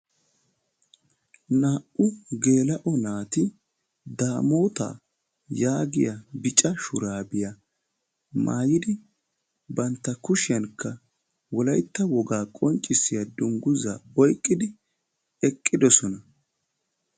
Naa"u geela"oti naati daamoota yaagiya bicca shuraabiya maayidi banttaa kushshiyankka wolaytta wogaa qonccissiya dungguzza oyqqidi eqqiddossona.